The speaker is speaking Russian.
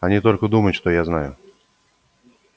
они только думают что знают